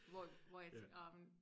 Hvor hvor jeg tænk om